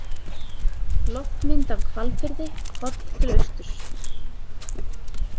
Loftmynd af Hvalfirði, horft til austurs.